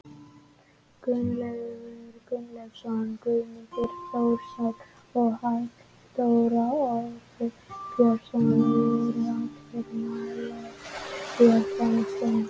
Gunnleifur Gunnleifsson, Guðmann Þórisson og Halldór Orri Björnsson voru allir nálægt því að komast inn.